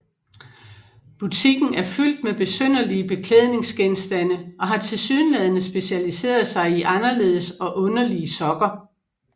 Butikken er fyldt med besynderlige beklædningsgenstande og har tilsyneladende specialiseret sig i anderledes og underlige sokker